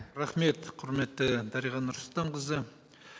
рахмет құрметті дариға нұрсұлтанқызы